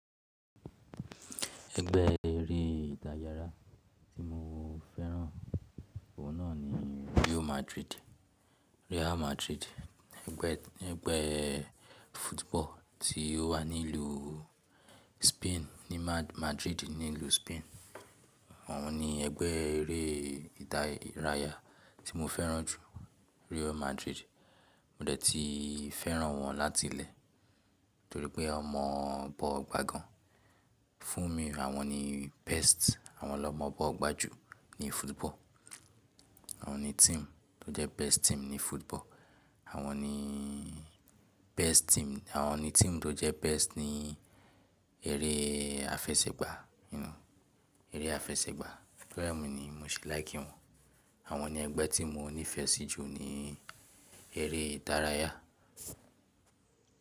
Ẹgbẹ́ eré ìdárayá tí mo fẹ́ràn oúnnà ni Real Madrid. Real Madrid. Ẹgbẹ́, ẹgbẹ́ football tí ó wà ní ìlú Spain ní Madrid nílùú Spain. Wọ́n ni ẹgbẹ́ eré ìdárayá tí mo fẹ́ràn jù Real Madrid. Mo dẹ̀ ti fẹ́ràn wọ́n láti ilé torípé ọmọ bọ́ gbá gan. Fún mi, àwọn ni best. Àwọn lọmọ bọ́ gbá jù ní football. Àwọn ni team tó jẹ́ best team ní football. Àwọn ni best team. Àwọn ni team tó jẹ́ best ní eré àfẹsẹ̀gbá, nínú eré àfẹsẹ̀gbá. To ẹ́ mú ni bimo ṣe like wọ́n. Àwọn ni ẹgbẹ́ tí mo nífẹsí jù ní eré ìdárayá.